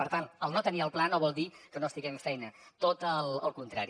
per tant el no tenir el pla no vol dir que no hi estiguem feina tot al contrari